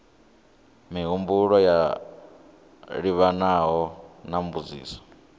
mihumbulo yo livhanaho na mbudziso